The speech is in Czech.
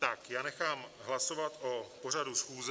Tak, já nechám hlasovat o pořadu schůze.